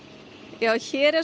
já hér er